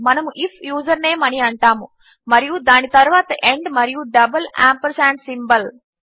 మనము if username అని అంటాము మరియు దాని తరువాత ఆండ్ మరియు డబల్ ఆంపర్సాండ్ సింబోల్